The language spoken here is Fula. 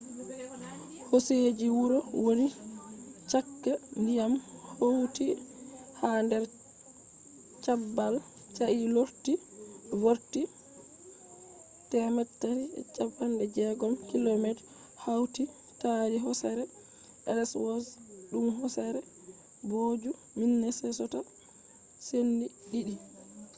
hoseji huro woni chaka diyam hauti ha der cabbal sai lorti vorti 360km hauti tari hosere ellsworth dum hosere booju minnesota sendi di'di